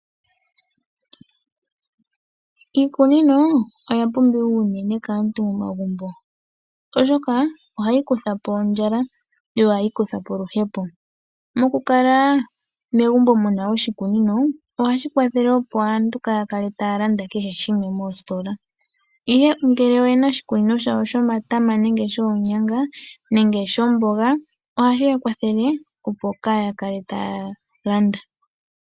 Iikunino oya pumbiwa unene kaantu momagumbo, oshoka ohayi kutha po ondjala yo ohayi kutha po oluhepo. Mokukala megumbo mu na oshikunino ohashi kwathele opo aantu kaaya kale taya landa kehe shimwe moositola, ihe ngele oye na oshikunino shawo shomatama nenge shoonyanga nenge shomboga ohashi ya kwathele, opo kaaya kale taya landa.